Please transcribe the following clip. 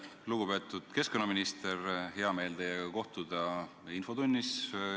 Lugupeetud keskkonnaminister, hea meel on teiega kohtuda infotunnis.